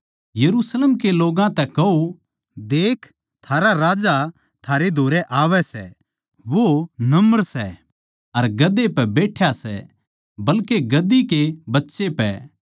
यरुशलेम के लोग्गां तै कहो देख थारा राजा थारै धोरै आवै सै वो नम्र सै अर गधे पै बैठ्या सै बल्के गधी के बच्चे पै